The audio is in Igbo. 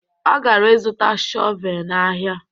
Ọ gara ịzụta shọvee n'ahịa